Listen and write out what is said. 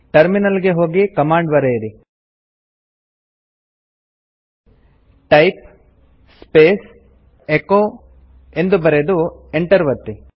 terminal ಗೆ ಹೋಗಿ command ಬರೆಯಿರಿ ಟೈಪ್ ಸ್ಪೇಸ್ ಎಚೊ ಎಂದು ಬರೆದು ಎಂಟರ್ ಒತ್ತಿ